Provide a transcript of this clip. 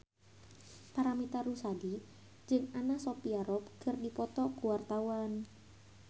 Paramitha Rusady jeung Anna Sophia Robb keur dipoto ku wartawan